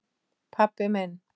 pabbi minn